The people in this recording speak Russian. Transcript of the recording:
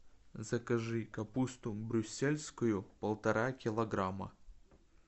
закажи капусту брюссельскую полтора килограмма